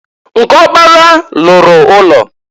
Nke ọkpara lụrụ ụlọ.